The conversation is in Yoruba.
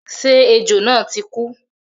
Ṣé ejò náà ti kú?